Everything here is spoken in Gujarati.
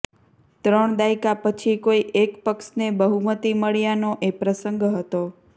ત્રણ દાયકા પછી કોઈ એક પક્ષને બહુમતી મળ્યાનો એ પ્રસંગ હતો